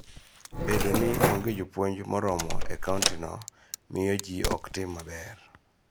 Bedo ni onge jopuonj moromo e kountino miyo ji ok tim maber.